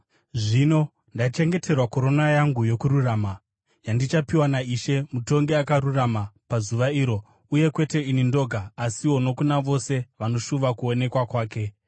Zvino ndakachengeterwa korona yangu yokururama, yandichapiwa, naIshe, mutongi akarurama pazuva iro, uye kwete ini ndoga, asiwo nokuna vose vanoshuva kuonekwa kwake.